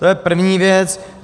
To je první věc.